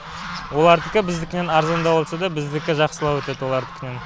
олардікі біздікінен арзандау болса да біздікі жақсылау өтеді олардікінен